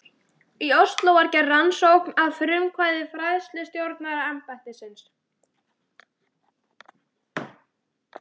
Í Osló var gerð rannsókn að frumkvæði fræðslustjóraembættisins.